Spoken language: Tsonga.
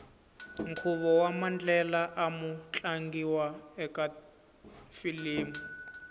nkhuvo wamandlela amu tlangiwa ekafilimu